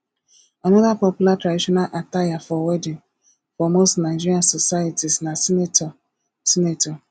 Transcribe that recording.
another popular traditional attire for wedding for most nigerian societies na senator senator